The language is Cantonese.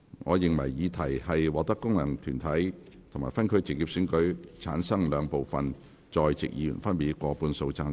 我認為議題獲得經由功能團體選舉產生及分區直接選舉產生的兩部分在席議員，分別以過半數贊成。